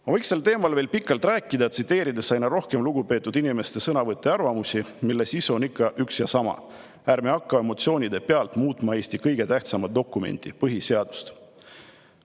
Ma võiks sel teemal veel pikalt rääkida, tsiteerides aina rohkem lugupeetud inimeste sõnavõtte ja arvamusi, mille sisu on ikka üks ja sama: ärme hakka emotsioonide pealt muutma Eesti kõige tähtsamat dokumenti, põhiseadust.